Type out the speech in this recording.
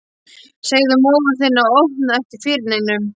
Segðu móður þinni að opna ekki fyrir neinum.